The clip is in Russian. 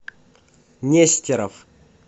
нестеров